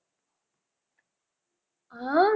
ஆஹ்